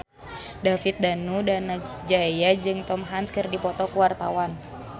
David Danu Danangjaya jeung Tom Hanks keur dipoto ku wartawan